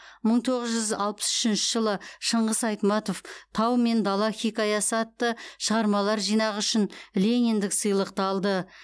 мың тоғыз жүз алпыс үшінші жылы шыңғыс айтматов тау мен дала хикаясы атты шығармалар жинағы үшін лениндік сыйлықты алды